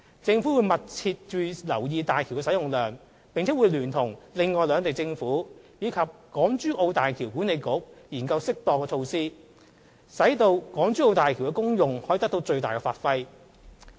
政府會密切留意大橋的使用量，並會聯同另外兩地政府及大橋管理局研究適當措施，讓港珠澳大橋的功用得到最大發揮。